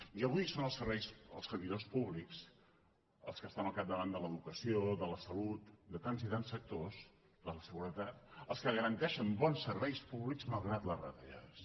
i avui són els servidors públics els que estan al capdavant de l’educació de la salut de tants i tants sectors de la seguretat els que garanteixen bons serveis públics malgrat les retallades